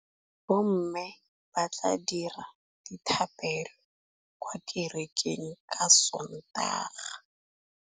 Bommê ba tla dira dithapêlô kwa kerekeng ka Sontaga.